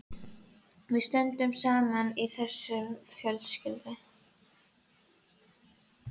Við stöndum saman í þessu fjölskyldan.